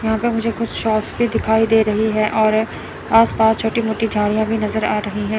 यहां पे मुझे कुछ शॉट्स भी दिखाई दे रही है और आस पास छोटी मोटी झाड़ियां भी नजर आ रही हैं।